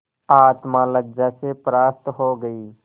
आत्मा लज्जा से परास्त हो गयी